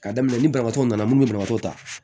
Ka daminɛ ni banabaatɔ nana minnu bɛ banabaatɔ ta